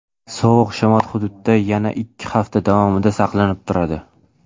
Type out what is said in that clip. Sovuq shamol hududda yana ikki hafta davomida saqlanib turadi.